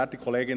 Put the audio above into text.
Sie sehen: